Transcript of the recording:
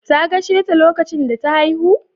Ta gasheta lokacin da ta haihu?